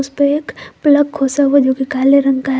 पे एक प्लक खोसा हुआ जो कि काले रंग का है।